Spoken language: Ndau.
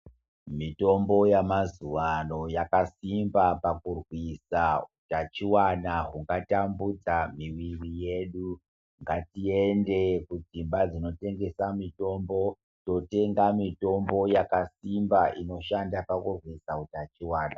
Mitombo yamazuvano yakasimba pakurwisa hutachiwana hungatambudza miviri yedu. Ngatiende kudzimba dzinotengesa mitombo, totenga mitombo yakasimba inoshanda pakurwisa hutachiwana.